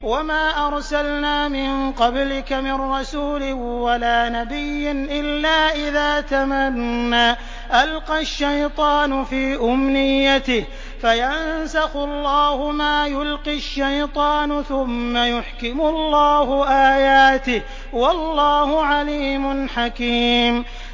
وَمَا أَرْسَلْنَا مِن قَبْلِكَ مِن رَّسُولٍ وَلَا نَبِيٍّ إِلَّا إِذَا تَمَنَّىٰ أَلْقَى الشَّيْطَانُ فِي أُمْنِيَّتِهِ فَيَنسَخُ اللَّهُ مَا يُلْقِي الشَّيْطَانُ ثُمَّ يُحْكِمُ اللَّهُ آيَاتِهِ ۗ وَاللَّهُ عَلِيمٌ حَكِيمٌ